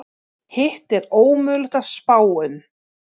Hitt er ómögulegt að spá um.